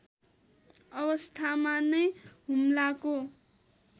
अवस्थामा नै हुम्लाको